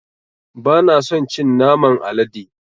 Ba na son cin naman alade.